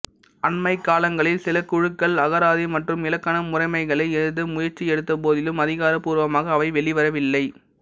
அண்மைக் காலங்களில் சில குழுக்கள் அகராதி மற்றும் இலக்கண முறைமைகளை எழுத முயற்சி எடுத்த போதிலும் அதிகாரபூர்வமாக அவை வெளிவரவில்லை